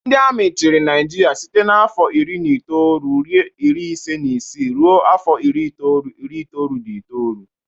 Ndi Amị chirị naijiria site na afọ iri na itọọlu, ịrị ịsị na ịsị ruo afọ ịrị n'ịtọọlu, ịrị itọọlu na ịtọọlu